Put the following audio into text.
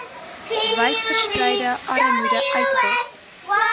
wydverspreide armoede uitwis